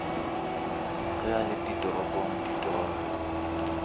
ge a le ditorong ditoro